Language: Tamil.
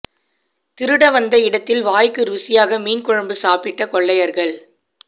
திருட வந்த இடத்தில் வாய்க்கு ருசியாக மீன் குழம்பு சாப்பிட்ட கொள்ளையர்கள்